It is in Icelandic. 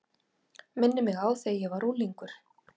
Minnir mig á þegar ég var unglingur.